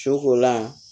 Sukolan